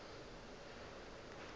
ge go le bjalo ga